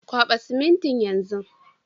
Kwaba siminti yan zun.